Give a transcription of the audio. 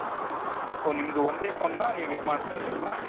ಓ ನಿಮ್ದು ಒಂದೇ phoneನ ಇದು ಮಾಡ್ತಿರೋದಲ್ವಾ?